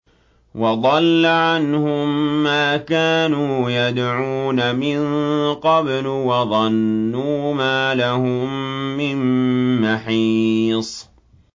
وَضَلَّ عَنْهُم مَّا كَانُوا يَدْعُونَ مِن قَبْلُ ۖ وَظَنُّوا مَا لَهُم مِّن مَّحِيصٍ